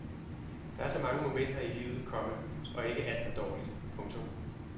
Der er så mange momenter i livet, komma og ikke alt er dårligt. punktum